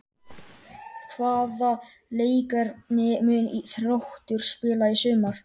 Hvaða leikkerfi mun Þróttur spila í sumar?